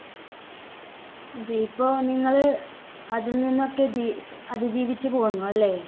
അത് ഇപ്പോ നിങ്ങള് അതിൽനിന്നൊക്കെ ജീ~ അതിജീവിച്ചു പോന്നു അല്ലേ?